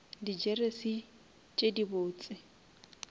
di jeresi tše di botse